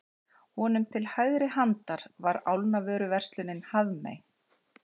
Honum til hægri handar var álnavöruverslunin Hafmey.